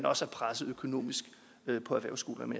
også er presset økonomisk på erhvervsskolerne